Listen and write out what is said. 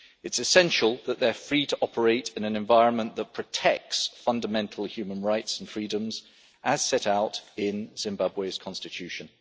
It is essential that they are free to operate in an environment that protects fundamental human rights and freedoms, as set out in Zimbabwe's Constitution.